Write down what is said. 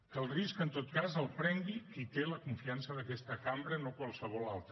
que el risc en tot cas el prengui qui té la confiança d’aquesta cambra no qualsevol altre